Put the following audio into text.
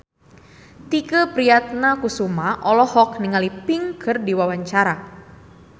Tike Priatnakusuma olohok ningali Pink keur diwawancara